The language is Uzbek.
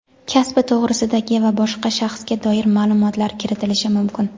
kasbi to‘g‘risidagi va boshqa shaxsga doir maʼlumotlar kiritilishi mumkin.